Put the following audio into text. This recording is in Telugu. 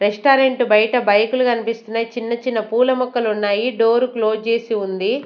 రెస్టారెంట్ బయట బైకు లు కనిపిస్తున్నాయ్ చిన్న చిన్న పూల మొక్కలున్నాయి డోరు క్లోజ్ చేసి ఉంది.